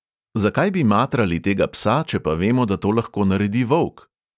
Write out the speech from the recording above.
Zakaj bi matrali tega psa, če pa vemo, da to lahko naredi volk?